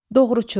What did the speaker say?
Doğruçu.